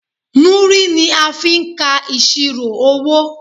Múrí ni a fi n ka ìṣirò owó